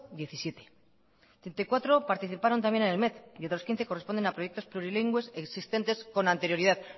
diecisiete treinta y cuatro participaron también en el met y otras quince corresponden a proyectos plurilingües existentes con anterioridad